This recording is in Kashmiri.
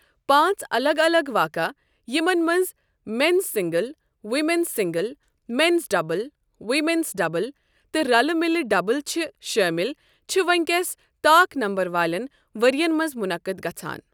پانٛژ الگ الگ واقعہٕ یِمَن منٛز men's singles, women's singles, men's double, women's double تہٕ رَلہٕ مِلہٕ ڈبل چھِ شٲمِل چھِ وونی کیٚس طاق نمبر والٮ۪ن ورۍ یَن منٛز منعقد گژھان۔